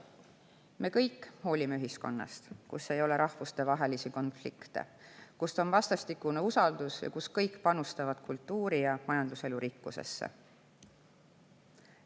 Me kõik hoolime ühiskonnast, kus ei ole rahvustevahelisi konflikte, kus on vastastikune usaldus ja kus kõik panustavad kultuuri‑ ja majanduselu rikkusesse.